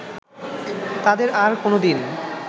তাদের আর কোনো দিন